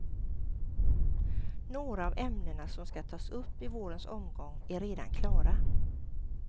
Några av ämnena som skall tas upp i vårens omgång är redan klara.